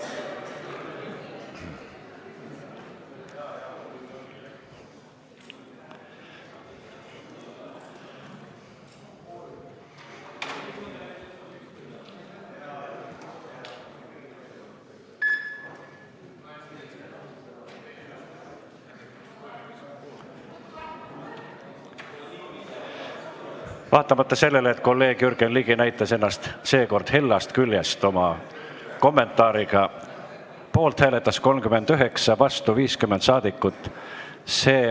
Hääletustulemused Vaatamata sellele, et kolleeg Jürgen Ligi näitas ennast seekord hellast küljest oma kommentaariga, hääletas poolt 39 ja vastu 50 saadikut.